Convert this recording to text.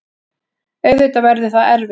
Auðvitað verður það erfitt.